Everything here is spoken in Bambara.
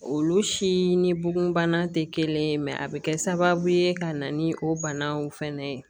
Olu si ni bugunbana tɛ kelen ye mɛ a bɛ kɛ sababu ye ka na ni o banaw fɛnɛ ye